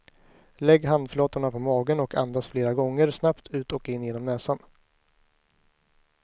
Lägg handflatorna på magen och andas flera gånger snabbt ut och in genom näsan.